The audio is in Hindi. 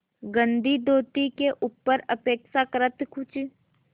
गंदी धोती के ऊपर अपेक्षाकृत कुछ